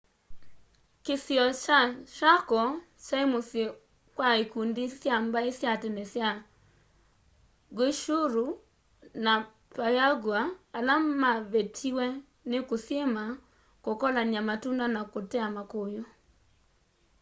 kisio kya chaco kyae musyi kwa ikundi sya mbai sya tene ta guaycuru na payagua ala mavetiwe ni kusyima kukolanya matunda na kutea makuyu